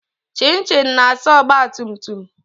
Chichi na-asa ogbatumtum